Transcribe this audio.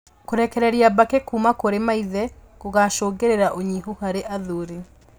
Kũrekereria mbakĩ kuuma kũrĩ maithe gũgacũngĩrĩria ũnyihu harĩ athuri